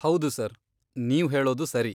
ಹೌದು ಸರ್, ನೀವು ಹೇಳೋದು ಸರಿ.